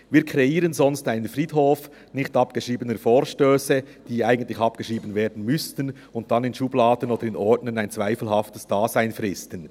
Wir kreieren sonst einen Friedhof nicht abgeschriebener Vorstösse, die eigentlich abgeschrieben werden müssten und damit in Schubladen oder Ordnern ein zweifelhaftes Dasein fristen.